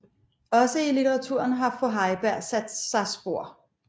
Også i litteraturen har fru Heiberg sat sig spor